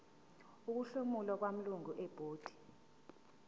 ukuhlomula kwamalungu ebhodi